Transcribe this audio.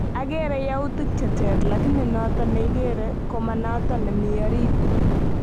Agere yautik che teer, lakini noto neigere ko manoto nemi orit